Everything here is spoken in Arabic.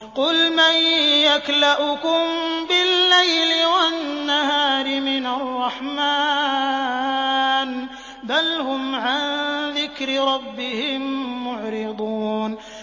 قُلْ مَن يَكْلَؤُكُم بِاللَّيْلِ وَالنَّهَارِ مِنَ الرَّحْمَٰنِ ۗ بَلْ هُمْ عَن ذِكْرِ رَبِّهِم مُّعْرِضُونَ